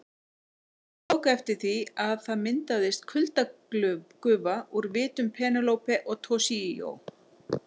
Hann tók eftir því að það myndaðist kuldagufa úr vitum Penélope og Toshizo.